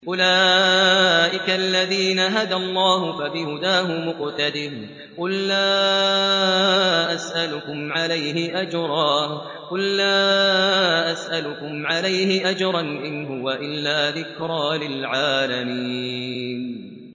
أُولَٰئِكَ الَّذِينَ هَدَى اللَّهُ ۖ فَبِهُدَاهُمُ اقْتَدِهْ ۗ قُل لَّا أَسْأَلُكُمْ عَلَيْهِ أَجْرًا ۖ إِنْ هُوَ إِلَّا ذِكْرَىٰ لِلْعَالَمِينَ